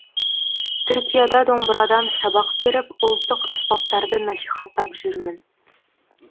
түркияда домбырадан сабақ беріп ұлттық аспаптарды насихаттап жүрмін